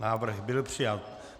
Návrh byl přijat.